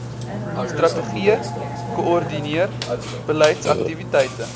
strategie koördineer beleidsaktiwiteite